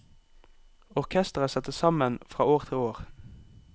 Orkestret settes sammen fra år til år.